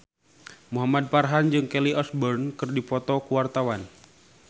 Muhamad Farhan jeung Kelly Osbourne keur dipoto ku wartawan